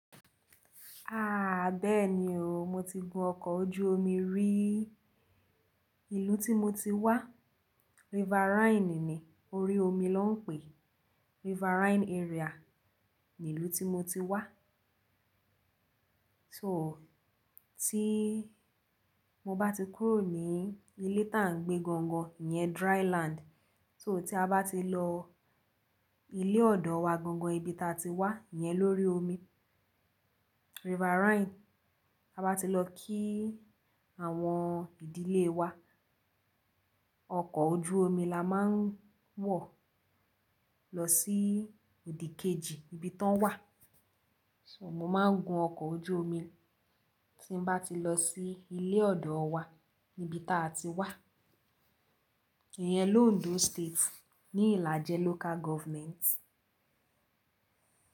Aaa bẹ́ẹ̀ni o, mo ti gun ọkọ̀ ojú omi rí. Ìlú tí mo ti wá Riverine ni orí omi ló ń pè. Riverine area ni ìlú tí mo ti wá. So tí mo bá ti kúrò ní ilé tá ń gbé gangan iyẹn dry land. So tí a bá ti lọ ilé ọ̀dọ̀ wa gangan ibi tá ti wá, iyẹn lórí omi Riverine. A bá ti lọ kí àwọn ìdílé wa, ọkọ̀ ojú omi la máa ń wọ̀ lọ sí òdìkejì ibi tán wá. So mo máa ń gun ọkọ̀ ojú omi tí bá ti lọ sí ilé ọ̀dọ̀ wa níbi táa ti wá. Ìyẹ̀n l'Òǹdó State ní Ìlàjẹ́ Local Government.